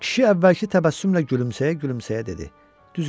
Kişi əvvəlki təbəssümlə gülümsəyə-gülümsəyə dedi: